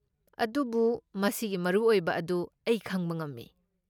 ꯑꯗꯨꯕꯨ ꯃꯁꯤꯒꯤ ꯃꯔꯨꯑꯣꯏꯕ ꯑꯗꯨ ꯑꯩ ꯈꯪꯕ ꯉꯝꯃꯤ ꯫